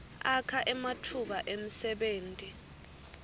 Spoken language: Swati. akha ematfuba emsebenti